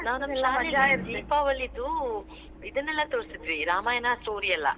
ದೀಪಾವಳಿದು, ಇದನ್ನೆಲ್ಲಾ ತೋರ್ಸಿದ್ವಿ, ರಾಮಾಯಣಾ story ಎಲ್ಲಾ.